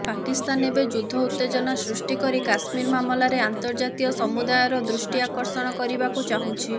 ପାକିସ୍ତାନ ଏବେ ଯୁଦ୍ଧ ଉତ୍ତେଜନା ସୃଷ୍ଟି କରି କଶ୍ମୀର ମାମଲାରେ ଅନ୍ତର୍ଜାତୀୟ ସମୁଦାୟର ଦୃଷ୍ଟି ଆକର୍ଷଣ କରିବାକୁ ଚାହୁଛି